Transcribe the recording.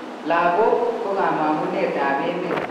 Lagok ko kamong'unet ap emet